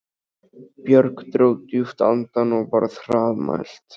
Björg dró djúpt andann og var hraðmælt